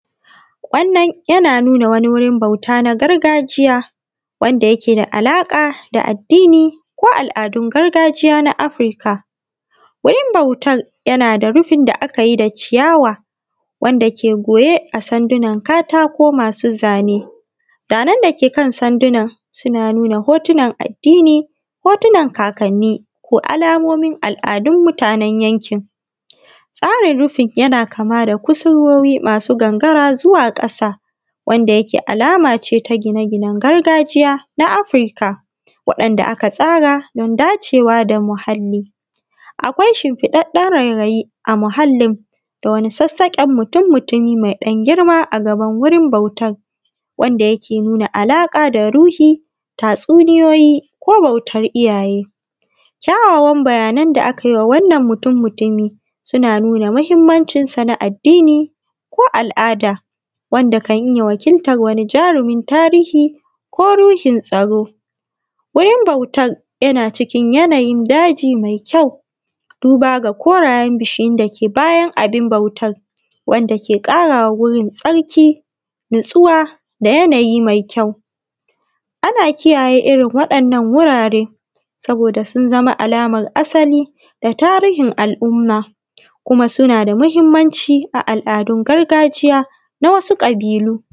Wannan yana nuna wani wurin bauta na gargajiya, wanda yake da alaƙa da addini ko al’adun gargajiya na Afirka. Wurin bautar, yana da rufin da aka yi da ciyawa wanda ke goye a sandunan katako masu zane. Zanen da ke kan sandunan, suna nuna hotunan addini, hotunan kakanni, ko alamomin al'adun mutanen yankin. Tsarin rufin yana kama da kusurwowi masu gangara zuwa ƙasa, wanda yake alama ce ta gine-ginen gargajiya na Afirka, waɗanda aka tsara don dacewa da muhalli. Akwai shimfiɗaɗɗen rairayi a muhallin, da wani sassaƙen mutum-mutumi mai ɗan girma a gaban wurin bautar, wanda yake nuna alaƙa da ruhi, tatsuniyoyi, ko bautar iyaye. Kyawawan bayanan da aka yi wa wannan mutum-mutumi suna nuna muhimmancinsa na addini ko al'ada, wanda kan iya wakiltar wani jarumin tarihi ko ruhin tsaro. Wurin bautar, yana cikin yanayin daji mai kyau, duba ga korayen bishiyun da ke bayan abun bautar, wanda ke ƙara wa wurin tsarki, nutsuwa, da yanayi mai kyau. Ana kiyaye irin waɗannan wurare saboda sun zama alamar asali, da tarihin al’umma, kuma suna da muhimmanci a al’adun gargajiya na wasu ƙabilu.